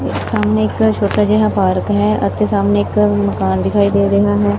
ਸਾਹਮਨੇ ਇੱਕ ਛੋਟਾ ਜਿਹਾ ਪਾਰਕ ਹੈ ਅਤੇ ਸਾਹਮਨੇ ਇੱਕ ਹੰ ਕਾਰ ਦਿਖਾਈ ਦੇ ਰਹੇ ਹਨ।